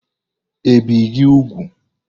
i bìe gi úgwù?